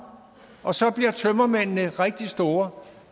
og så bliver tømmermændene rigtig store